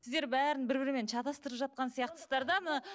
сіздер бәрін бір бірімен шатастырып жатқан сияқтысыздар да мына